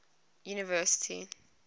university